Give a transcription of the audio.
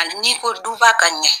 Hali n'i ko duba ka ɲɛ